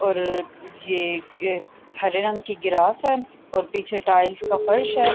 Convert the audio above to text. اور یہ ایک ہرے رنگ کی گراس ہے اور پیچھے ٹائلز کا فرش ہے۔